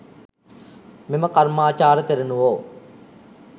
මෙම කර්මාචාර තෙරණුවෝ